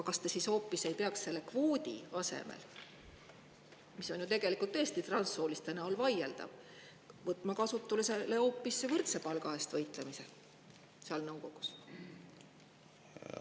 Kas te selle kvoodi asemel, mis on tegelikult ju tõesti transsooliste näol vaieldav, ei peaks ette võtma hoopis võrdse palga eest võitlemist seal nõukogus?